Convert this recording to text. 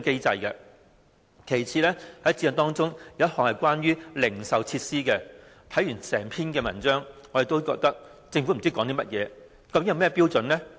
在《規劃標準》也有一項關於零售設施的規定，但我們不知道政府究竟有甚麼標準？